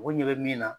U ko ɲɛ bɛ min na